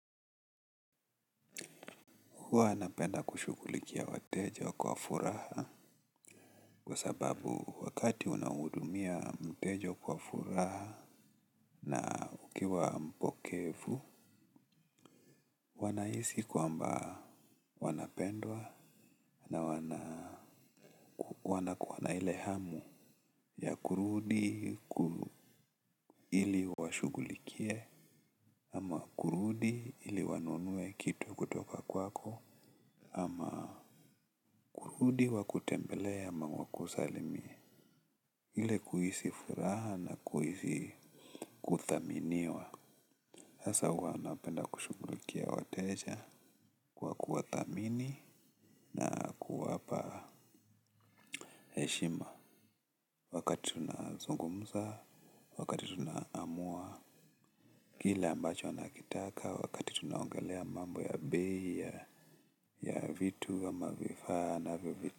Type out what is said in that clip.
Huwa napenda kushughulikia wateja kwa furaha kwa sababu wakati unahudumia mteja kwa furaha na ukiwa mpokevu wanahisi kwamba wanapendwa na wanakuwa na ile hamu ya kurudi ili washughulikie ama kurudi ili wanunue kitu kutoka kwako ama kurudi wakutembelee ama wakusalimie. Ile kuhisi furaha na kuhisi kuthaminiwa sasa huwa napenda kushughulikia wateja. Kwa kuwa thamini na kuwapa heshima. Wakati tunazungumza, wakati tunaamua kila ambacho anakitaka, wakati tunaongelea mambo ya bei, ya vitu, ama vifaa, na vitu.